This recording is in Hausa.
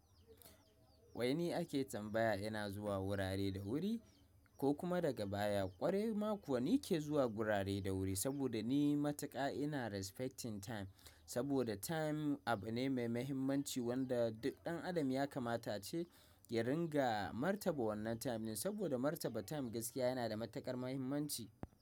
Wai ni ake tambaya ina zuwa wurare da wuri ko kuma daga baya ƙwarai ma kuwa ni ke zuwa gurare da wuri saboda ni matuƙa ina respecting time saboda time abu ne mai mahimmanci wanda duk ɗan adam ya kamata ace ya ringa martaba wannan time din saboda martaba time gaskiya yana da matuƙar mahimmanci.